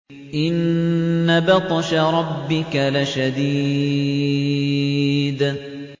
إِنَّ بَطْشَ رَبِّكَ لَشَدِيدٌ